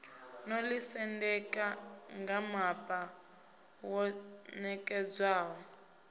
no ḓisendeka ngamapa wo ṋekedzwaho